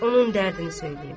Onun dərdini söyləyim.